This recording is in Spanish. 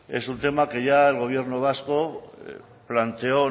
es un tema que ya el gobierno vasco planteó